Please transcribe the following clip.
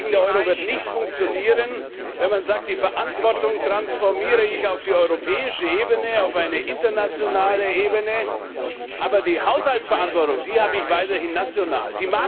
Der Euro wird nicht funktionieren, wenn man sagt, die Verantwortung transformiere ich auf die europäische Ebene, auf eine internationale Ebene, aber die Haushaltsverantwortung, die habe ich weiterhin national.